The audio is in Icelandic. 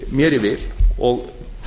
mér í vil og